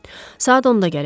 Saat 10-da gələcək.